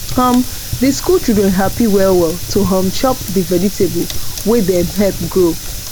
um the school children happy well well to um chop the vegetable wey dem help grow